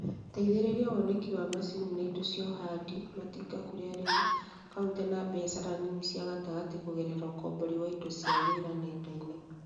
Teithĩrĩria woneki wa macini na indo cia ũhandi (matinga) kũrĩ arĩmi, kauntĩ na biashara nini na cia gatagatĩ kũgerera ũkombori wa indo cia wĩra nenda-inĩ